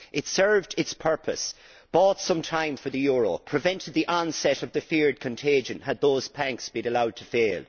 It served its purpose, bought some time for the euro, prevented the onset of the feared contagion had those banks been allowed to fail.